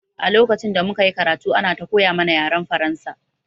A lokacin da muka yi karatu ana ta koya mana yaren Faransa